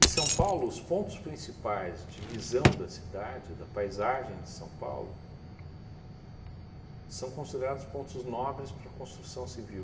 E São Paulo, os pontos principais de visão da cidade, da paisagem de São Paulo, são considerados pontos nobres para a construção civil.